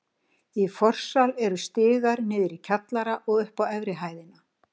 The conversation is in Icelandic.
Í forsal eru stigar niður í kjallara og upp á efri hæðina.